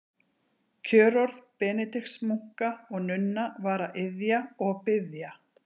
Kjörorð Benediktsmunka og-nunna var að iðja og biðja.